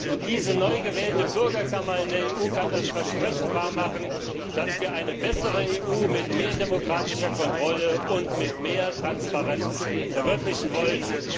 Und diese neu gewählte Bürgerkammer in der EU kann das Versprechen wahrmachen, dass wir eine bessere EU mit mehr demokratischer Kontrolle und mit mehr Transparenz verwirklichen wollen.